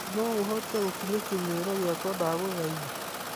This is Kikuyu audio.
no ũhote gukiria kimeero giakwa ndagũthaĩtha